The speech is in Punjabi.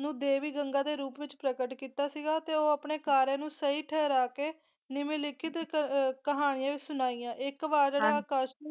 ਨੂੰ ਦੇਵੀ ਗੰਗਾ ਦੇ ਰੂਪ ਵਿੱਚ ਪ੍ਰਗਟ ਕੀਤਾ ਸੀਗਾ ਤੇ ਉਹ ਆਪਣੇ ਕਾਰੇ ਨੂੰ ਸਹੀ ਠਹਿਰਾ ਕੇ ਨਿਮਨਲਿਖਤ ਕ~ ਕਹਾਣੀਆਂ ਵੀ ਸੁਣਾਈਆਂ ਇੱਕ ਵਾਰ